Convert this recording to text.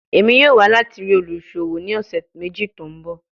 Emi yoo wa lati rii oluṣowo ni ọsẹ meji to nbọ